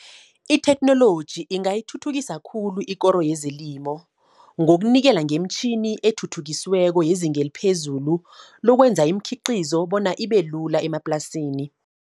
I-theknoloji ingayithuthukisa khulu ikoro yezelimo. Ngokunikela ngeemtjhini ethuthukisiweko yezinge eliphezulu, lokwenza iimkhiqizo bona ibelula emaplasini.